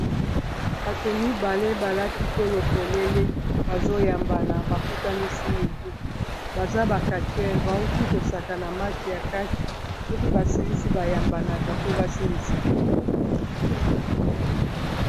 Bato mibale balati tolo polele bazoyambana bakutanisi mitu baza ba kachere bawuti kosakana match ya katche soki basilisi bayambanaka po basilisa.